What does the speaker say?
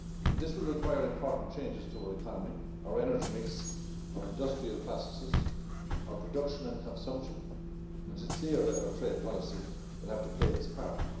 This will require important changes to our economy, our energy mix, our industrial processes, our production and consumption, and it is clear that our trade policy will have to play its part.